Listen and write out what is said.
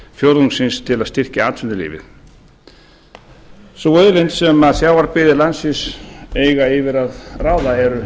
fjórðungsins til að styrkja atvinnulífið sú auðlind sem sjávarbyggðir landsins eiga yfir að ráða eru